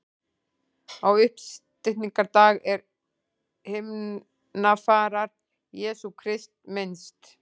Á uppstigningardag er himnafarar Jesú Krists minnst.